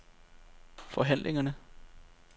forhandlingerne